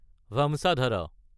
ভামচাধাৰা